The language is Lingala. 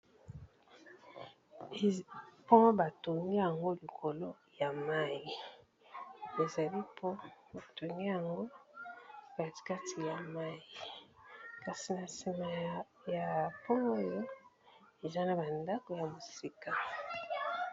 Pond ba tongi yango likolo ya mayi, ezali pond ba tongi yango kati kati ya mayi kasi na nsima ya pond oyo eza na ba ndako ya mosika.